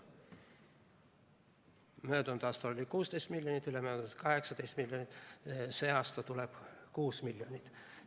Möödunud aastal oli 16 miljonit, ülemöödunud aastal 18 miljonit, sel aastal tuleb 6 miljonit.